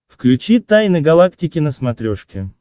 включи тайны галактики на смотрешке